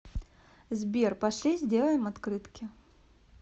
сбер пошли сделаем открытки